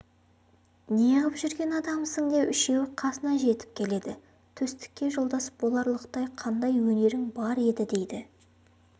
неғып жүрген адамсың деп үшеуі қасына жетіп келеді төстікке жолдас боларлықтай қандай өнерің бар еді дейді